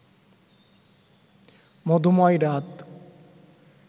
মধুময় রাত